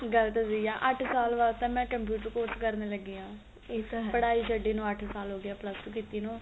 ਗੱਲ ਤਾਂ ਸਹੀ ਏ ਅੱਠ ਸਾਲ ਤਾਂ ਬਾਅਦ ਮੈਂ computer course ਕਰਨ ਲੱਗੀ ਆ ਇਸ ਪੜਾਈ ਛ ਡੀ ਨੂੰ ਅੱਠ ਸਾਲ ਹੋ ਗਏ plus two ਕੀਤੀ ਨੂੰ